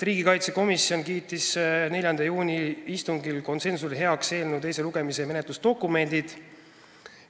Riigikaitsekomisjon kiitis 4. juuni istungil konsensusega heaks eelnõu teise lugemise menetlusdokumendid.